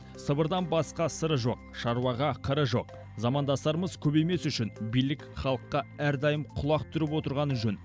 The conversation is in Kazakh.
сыбырдан басқа сыры жоқ шаруаға қыры жоқ замандастарымыз көбеймес үшін билік халыққа әрдайым құлақ түріп отырғаны жөн